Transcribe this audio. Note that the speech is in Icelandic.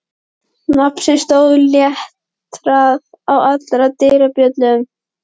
Nafn sem stóð letrað á allar dyrabjöllur.